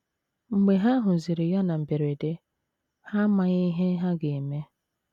Mgbe ha hụziri ya na mberede,, ha amaghị ihe ha ga - eme.